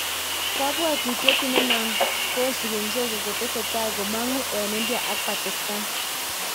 Kaywautiet inano kosipi mzozo chetesetai komangu en India ak Pakistan